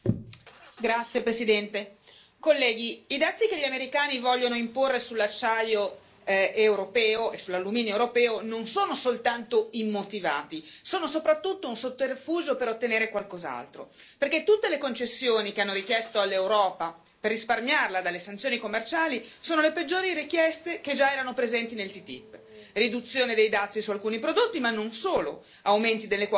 Signor Presidente, onorevoli colleghi, i dazi che gli americani vogliono imporre sull'acciaio europeo e sull'alluminio europeo non sono soltanto immotivati, sono soprattutto un sotterfugio per ottenere qualcos'altro. Perché tutte le concessioni che hanno richiesto all'Europa per risparmiarla dalle sanzioni commerciali sono le peggiori richieste che già erano presenti nel TTIP.